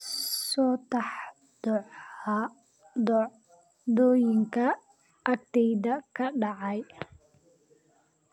soo tax dhacdooyinka agteyda ka dhacaya